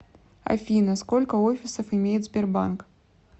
афина сколько офисов имеет сбербанк